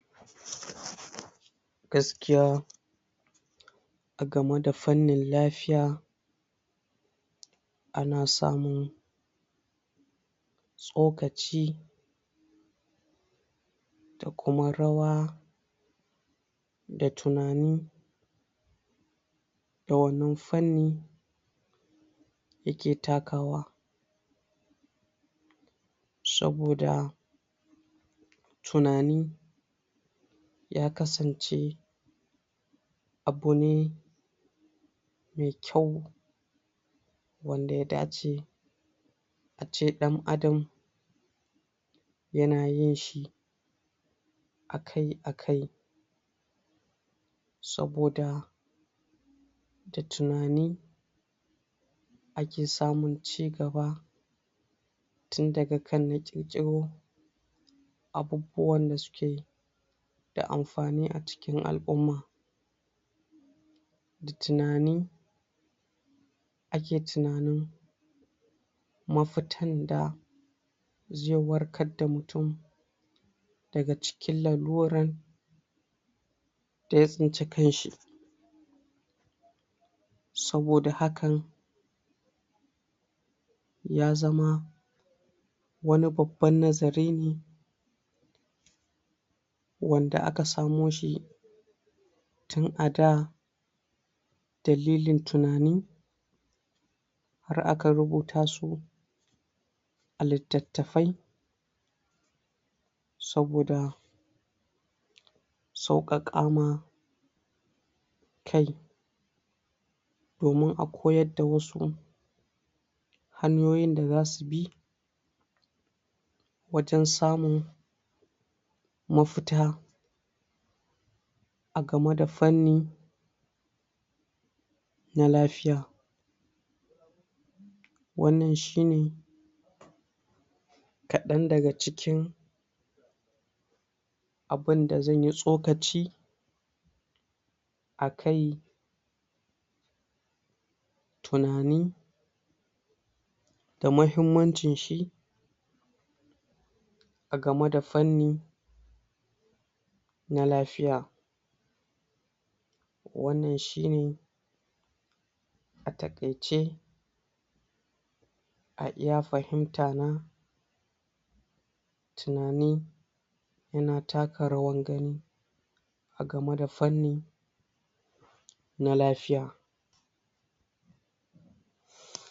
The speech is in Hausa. Gaskiya a game da fannin lafiya ana samun tsokaci da kuma rawa, da tunani, da wannan fanni ya ke takawa, saboda tunani ya kasance abu ne mai kyau wanda ya da ce a ce ɗan adam ya na yin shi akai akai, saboda da tunani ake samun cigaba tun daga kan na ƙirƙiro abubuwan da su ke da amfani a cikin al'umma, da tunani ake tunanin mafitan da zai warkar da mutum daga cikin laluran da ya tsinci kanshi, saboda hakan ya zama wani babban nazari ne wanda aka samo shi tun a da dalilin tunanin har aka rubuta su a littattafai saboda sauƙaƙama kai domin a koyarda wasu hanyoyin da za su bi wajen samun mafita a gameda fanni na lafiya, wannan shine kaɗan daga cikin abunda zan yi tsokaci akai tunani da mahimmancin shi a game da fanni na lafiya, wannan shine a taƙaice a iya fahimtana tunani ya na taka rawan gani a game da fanni na lafiya.